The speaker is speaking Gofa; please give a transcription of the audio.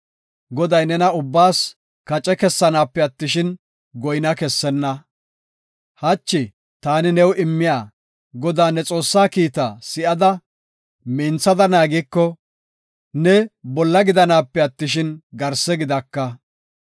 Goday nena ubbaas kace kessanaape attishin, goyna kessenna. Hachi ta new immiya, Godaa, ne Xoossaa kiita si7ada, minthada naagiko, ne bolla gidanaape attishin, garse gidaka.